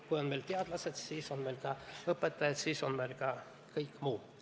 Kui meil on teadlased, siis on meil ka õpetajad, siis on meil ka kõik muu.